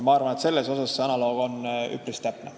Ma arvan, et selles osas on see analoog üpris täpne.